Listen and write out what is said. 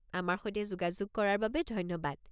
আমাৰ সৈতে যোগাযোগ কৰাৰ বাবে ধন্যবাদ।